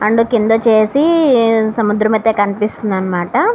And కిందొచ్చేసి సముద్రం అయితే కనిపిస్తుందన్నమాట.